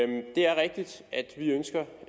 det er rigtigt at vi ønsker